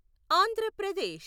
Andhra Pradesh